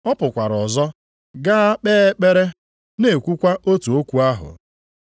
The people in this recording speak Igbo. Ọ pụkwara ọzọ, gaa kpee ekpere, na-ekwukwa otu okwu ahụ.